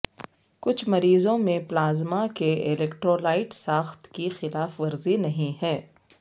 کچھ مریضوں میں پلازما کے الیکٹرولائٹ ساخت کی خلاف ورزی نہیں ہے